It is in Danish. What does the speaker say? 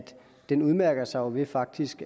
den jo udmærker sig ved faktisk